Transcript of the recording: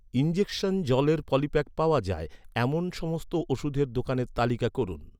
injection জলের polypack পাওয়া যায়, এমন সমস্ত ওষুধের দোকানের তালিকা করুন